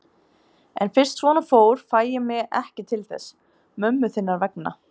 En fyrst svona fór fæ ég mig ekki til þess. mömmu þinnar vegna.